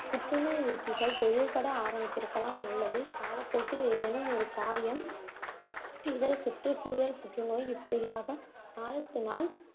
புற்றுநோய் ஊக்கிகள் தொழிற்பட ஆரம்பித்திருக்கலாம் அல்லது காலப் போக்கில் ஏதேனும் ஒரு காயம் இதர சுற்றுச்சூழல் புற்றுநோய் இப்படியாக நாளுக்கு நாள்